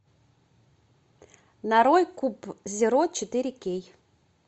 нарой куб зеро четыре кей